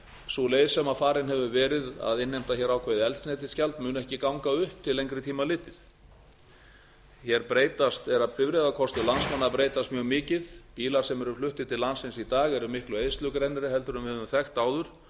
sú leið sem farin hefur verið að innheimta hér ákveðið eldsneytisgjald mun ekki ganga upp til lengri tíma litið hér er bifreiðakostur landsmanna að breytast mjög mikið bílar sem eru fluttir til landsins í dag eru miklu eyðslugrennri en við höfum þekkt áður auk